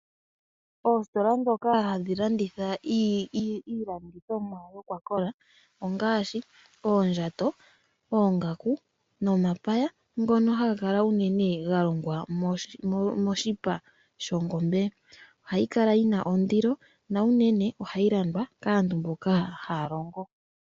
Oostola ndhoka hadhi landitha iilandithomwa yokwakola ongaashi oondjato, oongaku nomapaya ngono haga kala unene ga longwa moshipa shongobe. Oha yi kala yina ondilo na unene oha yi landwa kaantu mboka haya longo.